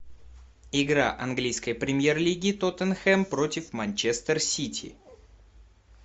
игра английской премьер лиги тоттенхэм против манчестер сити